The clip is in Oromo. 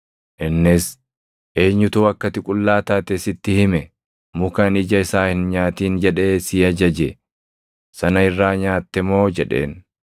Innis, “Eenyutu akka ati qullaa taate sitti hime? Muka ani ija isaa hin nyaatin jedhee si ajaje sana irraa nyaatte moo?” jedheen.